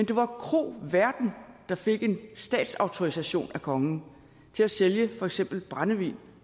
der var kroværten der fik en statsautorisation af kongen til at sælge for eksempel brændevin